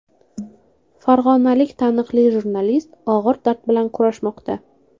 Farg‘onalik taniqli jurnalist og‘ir dard bilan kurashmoqda.